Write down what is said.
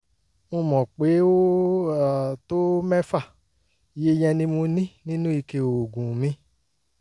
mo mọ̀ pé ó um tó mẹ́fà; iye yẹn ni mo ní nínú ike oògùn mi